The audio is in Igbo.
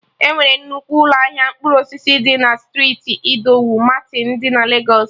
Enwere nnukwu ụlọ ahịa mkpụrụ osisi dị na striiti Idowu Martin dị na Legos